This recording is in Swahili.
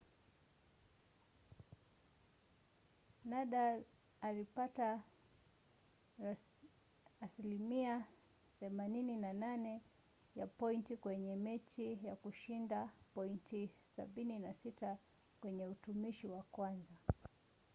nadal alipata 88% ya pointi kwenye mechi na kushinda pointi 76 kwenye utumishi wa kwanza